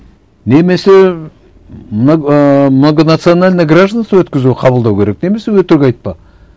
немесе ыыы многонациональное гражданство өткізу қабылдау керек немесе өтірік айтпа